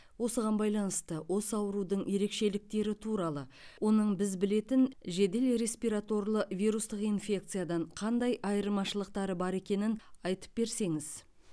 осыған байланысты осы аурудың ерекшеліктері туралы оның біз білетін жедел респираторлы вирустық инфекциядан қандай айырмашылықтары бар екенін айтып берсеңіз